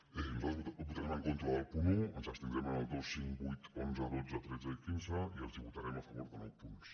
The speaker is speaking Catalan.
nosaltres votarem en contra del punt un ens abstindrem en els dos cinc vuit onze dotze tretze i quinze i els votarem a favor de nou punts